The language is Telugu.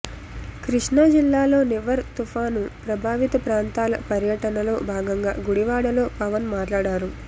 కృష్ణా జిల్లాలో నివర్ తుపాను ప్రభావిత ప్రాంతాల పర్యటనలో భాగంగా గుడివాడలో పవన్ మాట్లాడారు